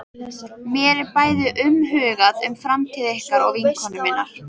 Mér er bæði umhugað um framtíð ykkar og vinkonu minnar.